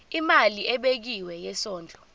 imali ebekiwe yesondlo